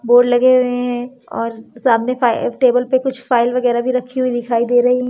board लगे हुए है और सामने फा टेबल पे कुछ फाइल वगेरह भी रखी हुई दिखाई दे रही--